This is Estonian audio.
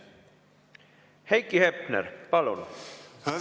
Heiki Hepner, palun!